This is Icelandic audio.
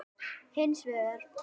Hins vegar